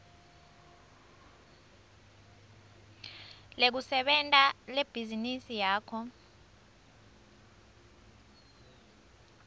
lekusebenta lebhizinisi yakho